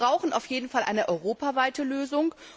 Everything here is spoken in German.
Wir brauchen auf jeden Fall eine europaweite Lösung.